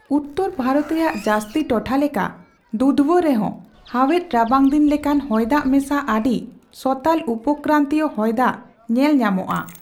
ᱩᱛᱛᱚᱨ ᱵᱷᱟᱨᱚᱛ ᱨᱮᱭᱟᱜ ᱡᱟᱹᱥᱛᱤ ᱴᱚᱴᱷᱟ ᱞᱮᱠᱟ, ᱫᱩᱫᱷᱣᱟ ᱨᱮᱦᱚᱸ ᱦᱟᱣᱮᱫ ᱨᱟᱵᱟᱝᱫᱤᱱ ᱞᱮᱠᱟᱱ ᱦᱚᱭᱫᱟᱜ ᱢᱮᱥᱟ ᱟᱹᱰᱤ ᱥᱚᱛᱟᱞ ᱩᱯᱚᱠᱨᱟᱱᱛᱤᱭᱚ ᱦᱚᱭᱫᱟᱜ ᱧᱮᱞ ᱧᱟᱢᱚᱜᱼᱟ᱾